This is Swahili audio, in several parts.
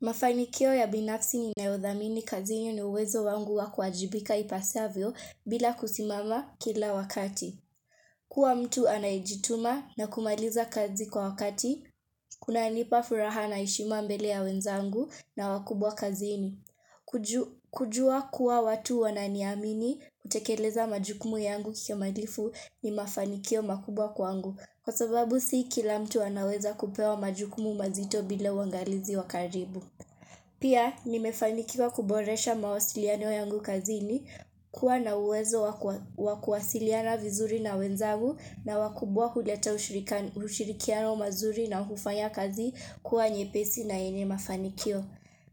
Mafanikio ya binafsi ninayodhamini kazini ni uwezo wangu wa kuwajibika ipasavyo bila kusimama kila wakati. Kuwa mtu anajituma na kumaliza kazi kwa wakati, kunanipa furaha na heshima mbele ya wenzangu na wakubwa kazini. Kujua kuwa watu wananiamini kutekeleza majukumu yangu kimalifu ni mafanikio makubwa kwangu. Kwa sababu si kila mtu anaweza kupewa majukumu mazito bila uangalizi wa karibu. Pia, nimefanikiwa kuboresha mawasiliano yangu kazini, kuwa na uwezo wakuwasiliana vizuri na wenzagu na wakubwa kuleta ushirikiano mazuri na hufanya kazi kuwa nyepesi na yenye mafanikio.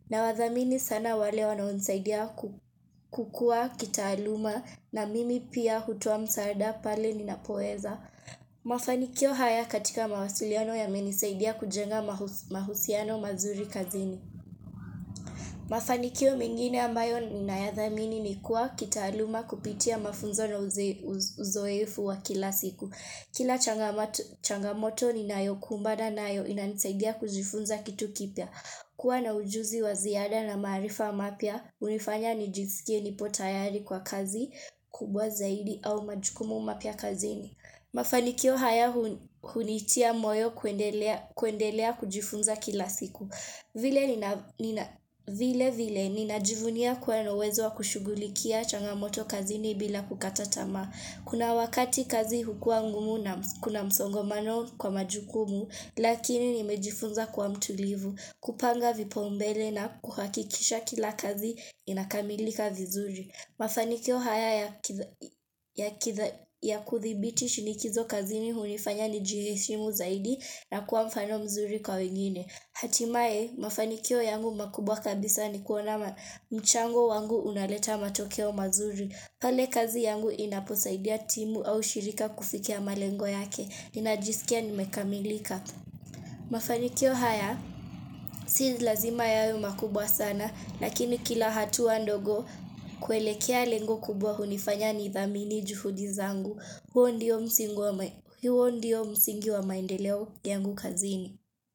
Nawadhamini sana wale wanaonisaidia kukua kitaaluma na mimi pia hutoa msaada pale ninapoweza. Mafanikio haya katika mawasiliano yamenisaidia kujenga mahusiano mazuri kazini. Mafanikio mengine ambayo ninayadhamini ni kuwa kitaaluma kupitia mafunzo na uzoefu wa kila siku. Kila changamoto ninayokumbana nayo inanisaidia kujifunza kitu kipya. Kuwa na ujuzi wa ziada na maarifa mapya hunifanya nijisikie nipo tayari kwa kazi kubwa zaidi au majukumu mapya kazini. Mafanikio haya hunitia moyo kuendelea kujifunza kila siku. Vile vile ninajivunia kuwa na wezo wa kushughulikia changamoto kazini bila kukata tamaa. Kuna wakati kazi hukua ngumu na kuna msongomano kwa majukumu lakini nimejifunza kuwa mtulivu. Kupanga vipaumbele na kuhakikisha kila kazi inakamilika vizuri. Mafanikio haya ya kudhibiti shinikizo kazini hunifanya nijiheshimu zaidi na kuwa mfano mzuri kwa wengine. Hatimaye, mafanikio yangu makubwa kabisa ni kuona mchango wangu unaleta matokeo mazuri. Pale kazi yangu inaposaidia timu au shirika kufikia malengo yake. Ninajisikia nimekamilika. Mafanikio haya, si lazima yawe makubwa sana. Lakini kila hatua ndogo kuelekea lengo kubwa hunifanya nidhamini juhudi zangu. Huo ndiyo msingi wa maendeleo yangu kazini.